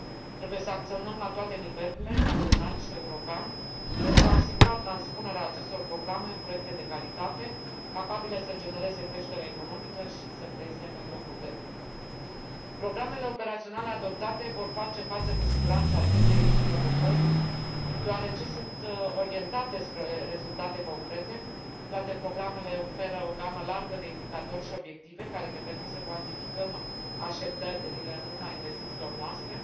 Trebuie să acționăm la toate nivelurile național și european pentru a asigura transpunerea acestor programe în proiecte de calitate, capabile să genereze creștere economică și să creeze noi locuri de muncă. Programele operaționale adoptate vor face față cu siguranță acestei provocări, deoarece sunt orientate spre rezultate concrete, toate programele oferă o gamă largă de indicatori și obiective care ne permit să cuantificăm așteptările în urma investițiilor noastre.